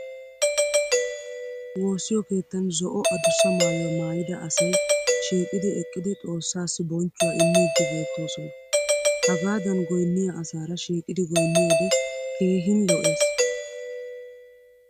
Woosiyo keettan zo'o adussa maayuwa maayida asay shiiqidi eqqidi xoossaassi bonchchuwa immidi beettoosona. Hagaadan goynniya asaara shiiqidi goynniyoode keehin lo'es.